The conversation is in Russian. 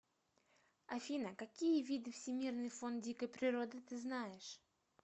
афина какие виды всемирный фонд дикой природы ты знаешь